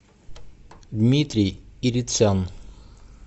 дмитрий ирицян